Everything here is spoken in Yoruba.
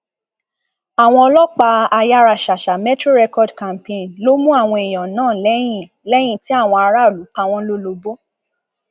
àwọn ọlọpàá ayáraṣàṣà metro record campaign ló mú àwọn èèyàn náà lẹyìn lẹyìn tí àwọn aráàlú ta wọn lólobó